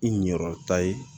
I ɲɛkɔrɔta ye